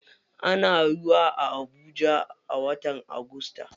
Ana ruwa a habuja a watan agusta.